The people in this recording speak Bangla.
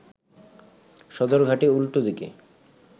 সদরঘাটের উল্টো দিকে